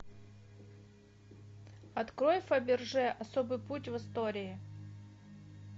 открой фаберже особый путь в истории